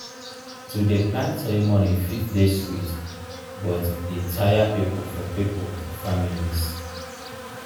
to dey plan ceremony fit dey sweet but e taya pipo for pipo for families.